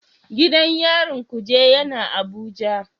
Gidan yarin Kuje yana Abuja.